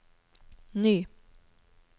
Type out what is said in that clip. ny